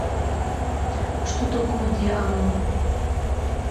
что такое деанон